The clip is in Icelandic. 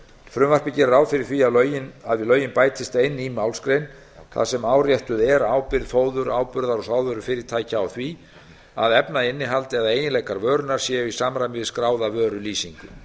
frumvarpið gerir ráð fyrir því að við lögin bætist ein ný málsgrein þar sem áréttuð er ábyrgð fóður ábyrgðar og sáðvörufyrirtækja á því að efnainnihald eða eiginleikar vörunnar séu í samræmi við skráða vörulýsingu